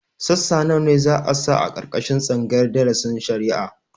Sassa nawa za a sa a ƙarƙashin tsangayar darasin shari'a?